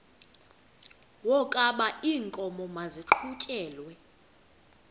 wokaba iinkomo maziqhutyelwe